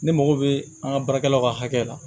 Ne mago bɛ an ka baarakɛlaw ka hakɛ la